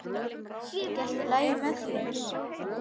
Er ekki allt lagi með þig?